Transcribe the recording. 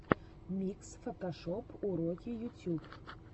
микс фотошоп уроки ютьюб